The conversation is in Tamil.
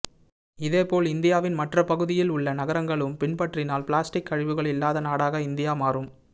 இதேபோல் இந்தியாவின் மற்ற பகுதியில் உள்ள நகரங்களும் பின்பற்றினால் பிளாஸ்டிக் கழிவுகள் இல்லாத நாடாக இந்தியா மாறும்